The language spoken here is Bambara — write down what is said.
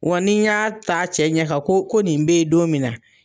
Wa ni n y'a ta cɛ ɲɛ kan koo ko nin be ye don min na